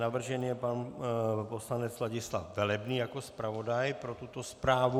Navržen je pan poslanec Ladislav Velebný jako zpravodaj pro tuto zprávu.